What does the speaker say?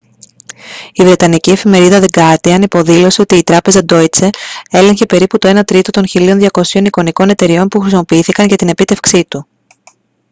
η βρετανική εφημερίδα the guardian υποδήλωσε ότι η τράπεζα deutsche έλεγχε περίπου το ένα τρίτο των 1.200 εικονικών εταιρειών που χρησιμοποιήθηκαν για την επίτευξή του